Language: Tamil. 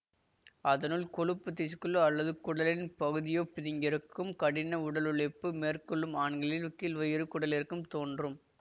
அதனுள் கொழுப்புத் திஸ்குள்ளோ அல்லது குடலின் பகுதியோ பிதுங்கியிருக்கும் கடின உடலுழைப்பு மேற்கொள்ளும் ஆண்களில் கீழ்வயிறு குடலிறக்கம் தோன்றும்